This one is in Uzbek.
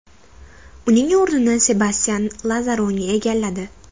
Uning o‘rnini Sebastyan Lazaroni egalladi.